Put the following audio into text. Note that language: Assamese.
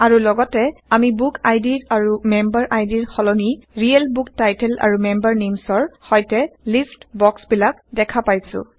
আৰু লগতে আমি বুক আই ডিৰ আৰু মেমবাৰ আইদিৰ সলনি ৰিয়েল বুক টাইটল আৰু মেম্বাৰ নেইমচ ৰ সৈতে লিষ্ট বক্সবিলাক দেখা পাইছো